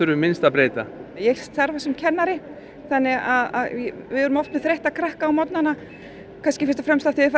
við minnst að breyta ég starfa sem kennari þannig að við erum oft með þreytta krakka á morgnanna kannski fyrst og fremst af því þeir fara